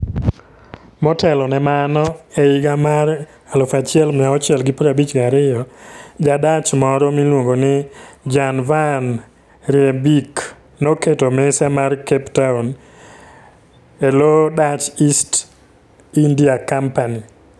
Motelo ne mano, e higa mar 1652, Ja-Dutch moro miluongo ni Jan van Riebeeck, noketo mise mar Cape Town e lo Dutch East India Company.